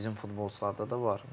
Bizim futbolçularda da var.